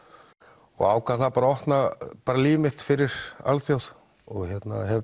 og ákvað bara að opna líf mitt fyrir alþjóð og hef